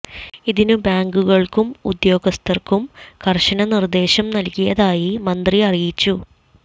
ഇതിന് ബാങ്കുകള്ക്കും ഉദ്യോഗസ്ഥര്ക്കും കര്ശന നിര്ദ്ദേശം നല്കിയതായി മന്ത്രി അറിയിച്ചു